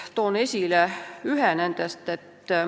Toon esile ühe nendest.